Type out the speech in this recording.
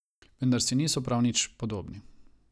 Vendar si niso prav nič podobni.